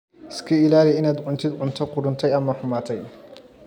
Iska ilaali inaad cuntid cunto qudhuntay ama xumaatay.